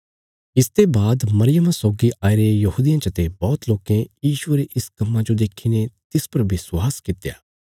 इसते बाद मरियमा सौगी आईरे यहूदियां चते बौहत लोकें यीशुये रे इस कम्मा जो देखीने तिस पर विश्वास कित्या